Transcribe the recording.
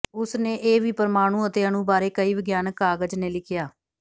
ਉਸ ਨੇ ਇਹ ਵੀ ਪਰਮਾਣੂ ਅਤੇ ਅਣੂ ਬਾਰੇ ਕਈ ਵਿਗਿਆਨਕ ਕਾਗਜ਼ ਨੇ ਲਿਖਿਆ